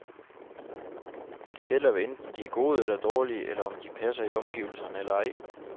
Det gælder, hvad enten de er gode eller dårlige, eller om de passer i omgivelserne eller ej.